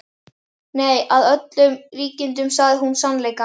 Nei, að öllum líkindum sagði hún sannleikann.